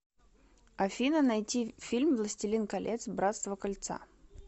афина найти фильм властилин колец братство кольца